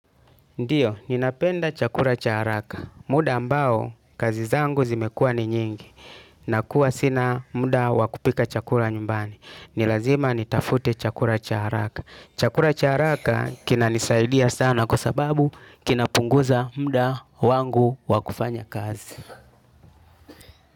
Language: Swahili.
Ndio, ninapenda chakula cha haraka. Muda ambao, kazi zangu zimekua ni nyingi. Nakuwa sina muda wakupika chakula nyumbani. Nilazima nitafute chakula cha haraka. Chakula cha haraka kina nisaidia sana kwasababu kina punguza muda wangu wakufanya kazi.